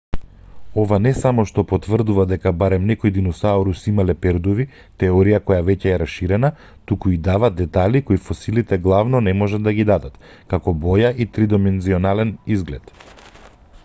ова не само што потврдува дека барем некои диносауруси имале пердуви теорија која веќе е раширена туку и дава детали кои фосилите главно не можат да ги дадат како боја и тридимензионален изглед